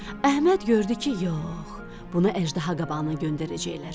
Əhməd gördü ki, yox, bunu əjdaha qabağına göndərəcəklər.